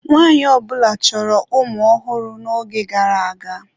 Nwaanyị ọ bụla chọrọ ụmụ ọhụrụ n'oge gara aga.